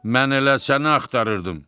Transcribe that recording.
Mən elə səni axtarırdım.